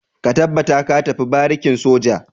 Ka tabbata ka tafi barikin soja!